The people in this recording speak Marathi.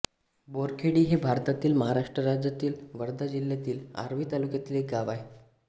बोरखेडी हे भारतातील महाराष्ट्र राज्यातील वर्धा जिल्ह्यातील आर्वी तालुक्यातील एक गाव आहे